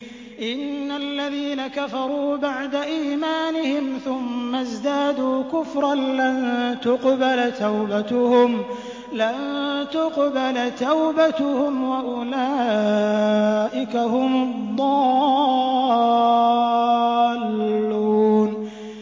إِنَّ الَّذِينَ كَفَرُوا بَعْدَ إِيمَانِهِمْ ثُمَّ ازْدَادُوا كُفْرًا لَّن تُقْبَلَ تَوْبَتُهُمْ وَأُولَٰئِكَ هُمُ الضَّالُّونَ